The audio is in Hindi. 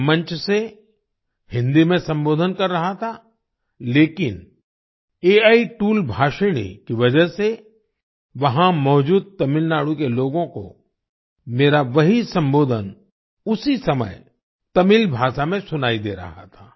मैं मंच से हिंदी में संबोधन कर रहा था लेकिन एआई टूल भाषिणी की वजह से वहां मौजूद तमिलनाडु के लोगों को मेरा वही संबोधन उसी समय तमिल भाषा में सुनाई दे रहा था